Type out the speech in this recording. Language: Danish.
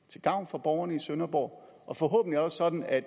til gavn for borgerne i sønderborg og forhåbentlig også sådan at